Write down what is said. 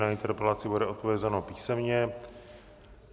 Na interpelaci bude odpovězeno písemně.